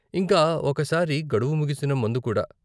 ఇంకా ఒక సారి గడువు ముగిసిన మందు కూడా.